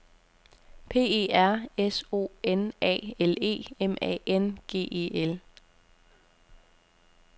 P E R S O N A L E M A N G E L